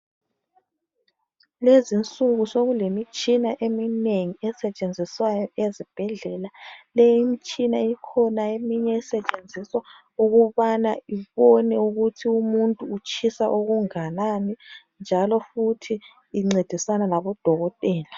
Lezinsuku sokulemitshina eminengi esetshenziswa ezibhedlela. le imitshina kukhona esetshenziswa ukubana ibone ukuthi umuntu utshisa okungakanani njalo futhi incedisana labodokotela.